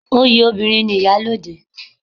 Oyè obìnrin ni iyalode